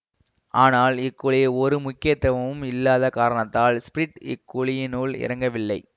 ஆனால் இக்குழி ஒரு முக்கியத்துவமும் இல்லாத காரணத்தால் ஸ்பிரிட் இக்குழியினுள் இறங்கவில்லை